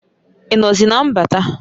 I nozi na mbata?